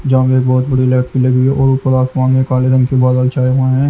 जहाँ में एक बहुत बड़ी लाइट की लगी हुई है और ऊपर आसमान में काले रंग के बादल छाए हुए हैं।